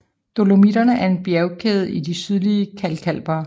Dolomitterne er en bjergkæde i de sydlige kalkalper